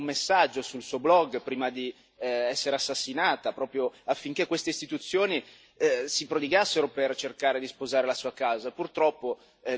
Lei ha lanciato un messaggio sul suo blog, prima di essere assassinata, affinché queste istituzioni si prodigassero per cercare di sposare la sua causa.